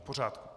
V pořádku.